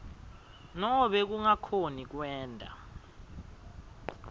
nobe kungakhoni kwenta